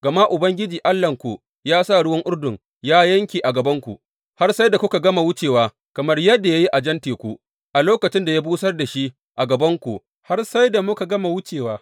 Gama Ubangiji Allahnku ya sa ruwan Urdun ya yanke a gabanku, har sai da kuka gama wucewa, kamar yadda ya yi a Jan Teku, a lokacin da ya busar da shi a gabanmu har sai da muka gama wucewa.